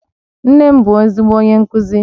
Nne m bu ezigbo onye nkuzi